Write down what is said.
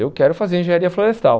Eu quero fazer engenharia florestal.